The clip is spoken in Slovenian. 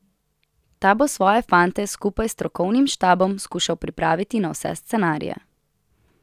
Ta bo svoje fante skupaj s strokovnim štabom skušal pripraviti na vse scenarije.